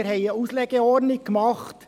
Wir haben eine Auslegeordnung gemacht.